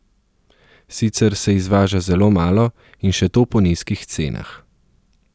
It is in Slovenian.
Sicer se izvaža zelo malo, in še to po nizkih cenah.